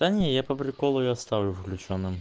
да не я по приколу её оставлю включённым